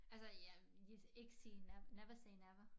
Altså jeg ik sige never say never